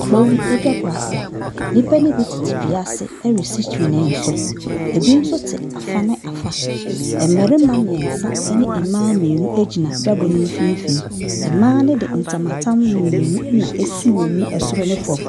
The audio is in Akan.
Kuro bi dwabɔ ase, nnipa ne bi tete dua ase ɛresi twene so, bi nso te afa ne afa, mmarima mmiɛnsa ne mmaa mmienu gyina dwabɔ ne mfimfin. Mmaa no de ntama tam mmienu na asi wɔn mu soro ne fam,